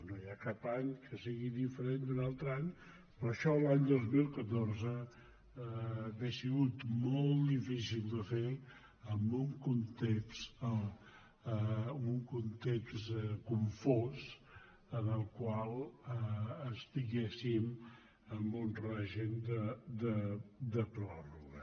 no hi ha cap any que sigui diferent d’un altre any per això l’any dos mil catorze hauria estat molt difícil de fer amb un context confós en el qual estiguéssim amb un règim de pròrroga